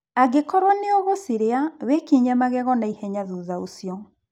Angĩkorwo nĩ ũgũcirĩa, wĩkinye magego na ihenya thutha ũcio